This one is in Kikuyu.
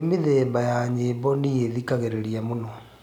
ni mithembaĩrĩkũ ya nyĩmbo nii thikagiriria mũno